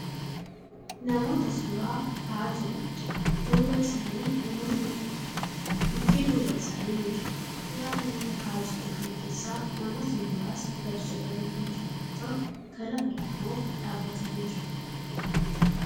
Namoota suuraa ka'aa jiraniidha. Duuba isaanii namoota hedduutu jira. Mukkeen duuba isaanii ni jiru. Suuraa namoota ka'aa jiran kana keessaa namootni muraasni gadi jedhanii kan jiran yoo ta'u kan hafan immoo dhaabbatanii jiru.